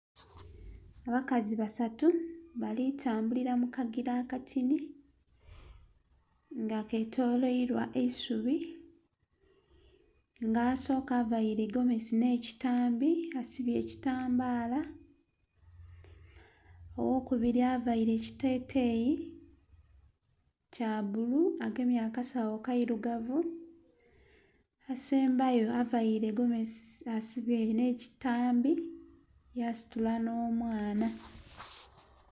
Abakazi basatu bali tambulira mu kagira akatini nga ketoloirwa eisubi. Nga asooka availe gomesi nh'ekitambi, asibye ekitambaala. Ow'okubiri availe ekiteteeyi kya bbulu agemye akasawo kairugavu. Asembayo availe gomesi, asibye nh'ekitambi, yasitula nh'omwana.